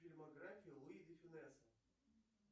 фильмография луи де фюнеса